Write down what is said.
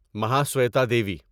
Mahasweta Devi